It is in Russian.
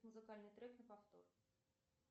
музыкальный трек на повтор